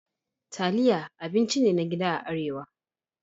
Taliya abinci ne na gida a Arewa.